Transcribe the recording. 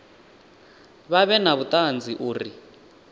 vha vhe na vhuṱanzi uri